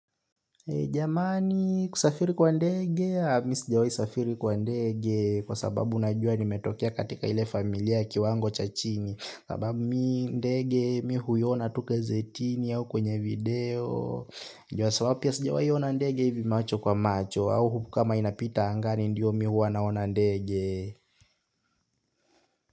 Jamani kusafiri kwa ndege, mi sijawahi safiri kwa ndege kwa sababu unajua nimetokea katika ile familia ya kiwango cha chini. Sababu mi ndege mi huiona tu gazetini au kwenye video. Juu sababu pia sijawahi ona ndege hivi macho kwa macho au kama inapita angani ndio mi huwa naona ndege.